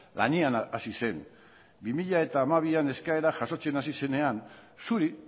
lanean hasi zen bi mila hamabian eskaerak jasotzen hasi zenean zuri